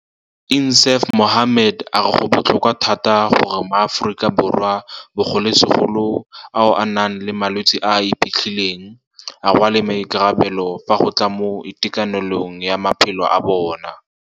INSAAF MOHAMMED a re go botlhokwa thata gore maAforika Borwa, bogolosegolo ao a nang le malwetse a a iphitlhileng, a rwale maikarabelo fa go tla mo itekanelong ya maphelo a bona.